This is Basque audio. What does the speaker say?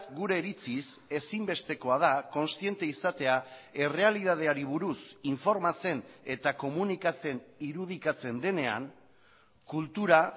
gure iritziz ezinbestekoa da kontziente izatea errealitateari buruz informatzen eta komunikatzen irudikatzen denean kultura